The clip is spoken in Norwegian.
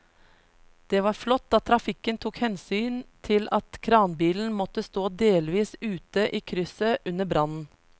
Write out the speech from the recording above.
Det var flott at trafikken tok hensyn til at kranbilen måtte stå delvis ute i krysset under brannen.